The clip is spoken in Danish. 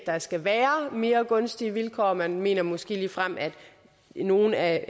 der skal være mere gunstige vilkår og man mener måske ligefrem at nogle af